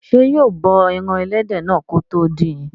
Ṣé yóò bọ ẹran ẹlẹ́dẹ̀ náà kí ó tó dín in?